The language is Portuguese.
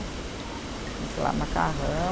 Sei lá, macarrão.